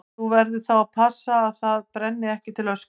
Þú verður þá að passa að það brenni ekki til ösku.